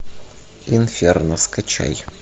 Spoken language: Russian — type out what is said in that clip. инферно скачай